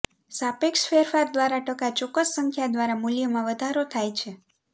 સાપેક્ષ ફેરફાર દ્વારા ટકા ચોક્કસ સંખ્યા દ્વારા મૂલ્યમાં વધારો થાય છે